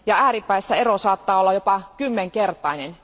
Ääripäissä ero saattaa olla jopa kymmenkertainen.